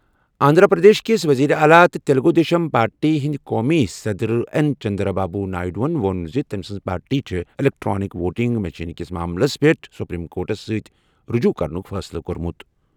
آندھرا پردیش کِس وزیر اعلیٰ تہٕ تیلگو دیشم پارٹی ہٕنٛدۍ قومی صدر این چندرا بابو نائیڈوَن ووٚن زِ تٔمۍ سٕنٛزِ پارٹی چھُ الیکٹرانک ووٹنگ مشینہٕ کِس معاملَس پٮ۪ٹھ سپریم کورٹَس سۭتۍ رجوع کرنُک فٲصلہٕ کوٚرمُت۔